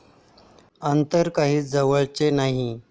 अंतर काही जवळचे नाही